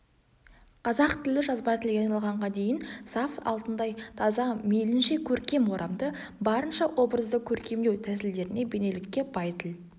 қазақ тілі жазба тілге айналғанға дейін саф алтындай таза мейлінше көркем орамды барынша образды көркемдеу тәсілдеріне бейнелікке бай тіл